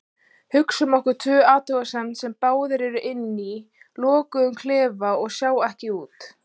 Hugsum okkur tvo athugendur sem báðir eru inni í lokuðum klefum og sjá ekki út.